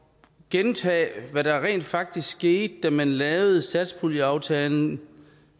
gentage hvad der rent faktisk skete da man lavede satspuljeaftalen